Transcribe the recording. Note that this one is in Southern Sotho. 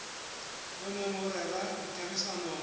o neng o rena ditherisanong